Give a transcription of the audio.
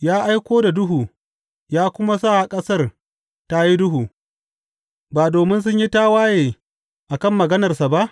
Ya aiko da duhu ya kuma sa ƙasar tă yi duhu, ba domin sun yi tawaye a kan maganarsa ba?